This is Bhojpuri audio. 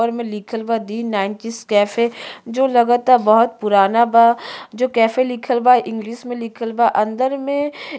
पर में लिखल बा दी नाईन्टिस कैफे जो रगता बोहोत पुराना बा जो कैफ़े लिखल बा इंग्लिश में लिखल बा। अंदर में --